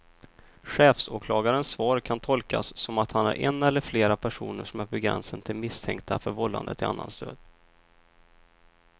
Chefsåklagarens svar kan tolkas som att han har en eller flera personer som är på gränsen till misstänkta för vållande till annans död.